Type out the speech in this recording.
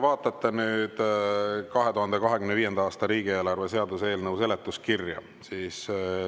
Vaadake 2025. aasta riigieelarve seaduse eelnõu seletuskirja.